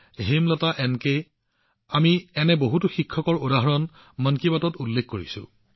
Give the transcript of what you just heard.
হয় আমি মন কী বাতত এনে বহুতো শিক্ষকৰ উদাহৰণ উল্লেখ কৰিছো